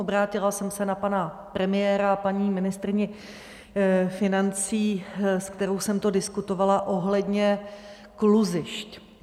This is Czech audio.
Obrátila jsem se na pana premiéra a paní ministryni financí, se kterou jsem to diskutovala, ohledně kluzišť.